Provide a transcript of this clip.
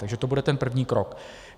Takže to bude ten první krok.